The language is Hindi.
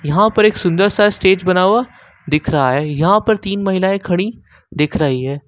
यहाँ पर एक सुंदर सा स्टेज बना हुआ दिख रहा है यहां पर तीन महिलाएं खड़ी दिख रही है।